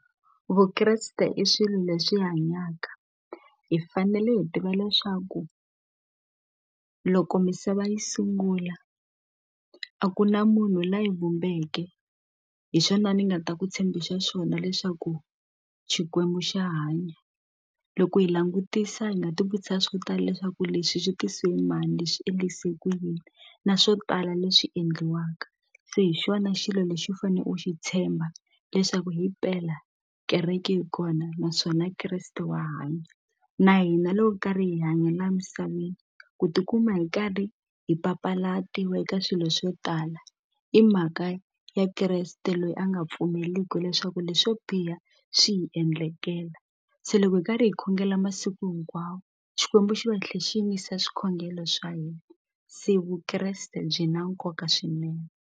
Vukreste i swilo leswi hanyaka hi fanele hi tiva leswaku loko misava yi sungula a ku na munhu la yi vumbeke hi swona ni nga ta ku tshembisa swona leswaku Xikwembu xa hanya loko hi langutisa hi nga ti vutisa swo tala leswaku leswi swi tise hi mani leswi endlise ku yini na swo tala leswi endliwaka se hi xona xilo lexi u fane u xi tshemba leswaku himpela kereke yi kona naswona Kreste wa hanya na hina loko karhi hi hanya la misaveni ku tikuma hi karhi hi papalatiwa eka swilo swo tala i mhaka ya Kreste loyi a nga pfumeliku leswaku leswo biha swi hi endlekela se loko hi karhi hi khongela masiku hinkwawo Xikwembu xi va tlhe xi yingisa swikhongelo swa hina se Vukreste byi na nkoka swinene.